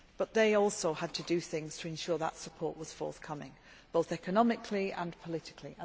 But they also had to do things to ensure that support was forthcoming, both economically and politically.